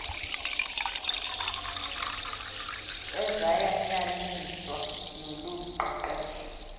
ezayanyaniswa nolu qeqesho